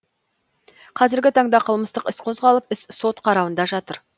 қазіргі таңда қылмыстық іс қозғалып іс сот қарауында жатыр